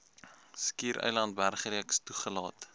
skiereiland bergreeks toegelaat